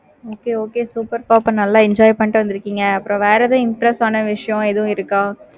okay okay super அப்ப நல்ல enjoy பண்ணிட்டு வந்துருக்கீங்க. அப்பறம் வேற எது interested ஆனா விஷயம் இருக்குதா?